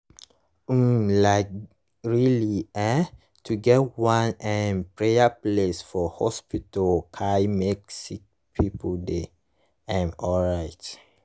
um like reli[um]to get one um praya place for hospitas cey make sicki pple dey um alright